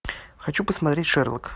хочу посмотреть шерлок